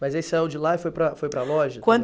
Mas aí você saiu de lá e foi para, foi para a loja?